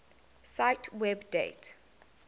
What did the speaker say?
cite web date